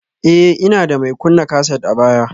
Ee, ina da mai kunna kaset a baya